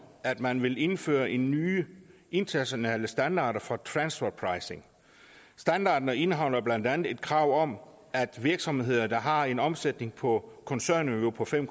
at man vil indføre nye internationale standarder for transferpricing standarderne indeholder blandt andet et krav om at virksomheder der har en omsætning på koncernniveau på fem